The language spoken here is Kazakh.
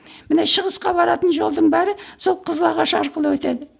міне шығысқа баратын жолдың бәрі сол қызылағаш арқылы өтеді